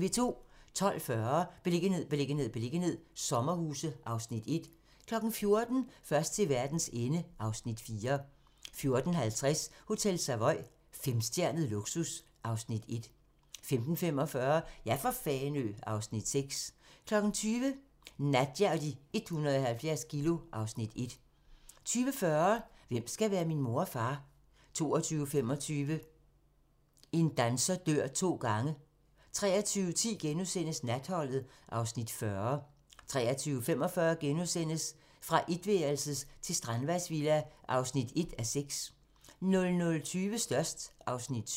12:40: Beliggenhed, beliggenhed, beliggenhed - sommerhuse (Afs. 1) 14:00: Først til verdens ende (Afs. 4) 14:50: Hotel Savoy - femstjernet luksus (Afs. 1) 15:45: Ja for Fanø (Afs. 6) 20:00: Nadja og de 170 kilo (Afs. 1) 20:40: Hvem skal være min mor og far? 22:25: En danser dør to gange 23:10: Natholdet (Afs. 40)* 23:45: Fra etværelses til strandvejsvilla (1:6)* 00:20: Størst (Afs. 7)